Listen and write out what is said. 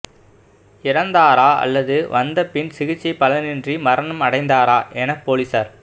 இறந்தாரா அல்லது வந்த பின் சிகிச்சை பலனின்றி மரணம் அடைந்தாரா என போலீசார்